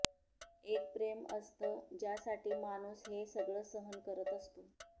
एक प्रेम असतं ज्यासाठी माणूस हे सगळं सहन करत असतो